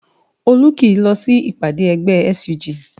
Olú kìí lọ sí ìpàdé ẹgbẹ́ SUG